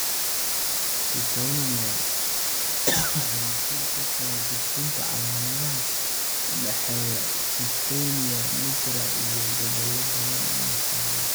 Dopamine waxay mas'uul ka tahay gudbinta calaamadaha u dhexeeya substantia nigra iyo gobollo badan oo maskaxeed.